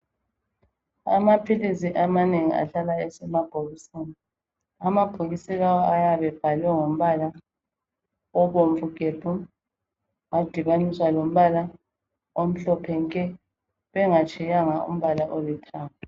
Amaphilisi amanengi ahlala esemabhokisini, amabhokisi lawa ayabe ebhalwe ngombala obomvu gebhu adibaniswa lombala omhlophe nke bengatshiyanga umbala olithanga.